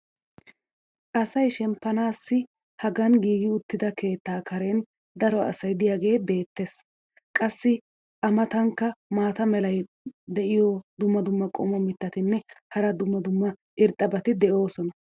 asay shemppanaassi hagan giigi uttida keettaa karen daro asay diyaagee beetees. qassi a matankka maata mala meray diyo dumma dumma qommo mitattinne hara dumma dumma irxxabati de'oosona.